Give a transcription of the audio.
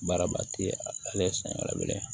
Baaraba ti a ye san kelen